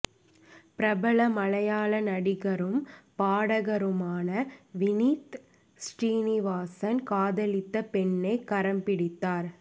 பிரபல மலையாள நடிகரும் பாடகருமான வினித் ஸ்ரீநிவாசன் காதலித்த பெண்ணை கரம் பிடித்தார்